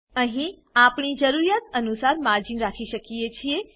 અહી આપણે આપણી જરૂરિયાત અનુસાર માર્જિન રાખી શકીએ છીએ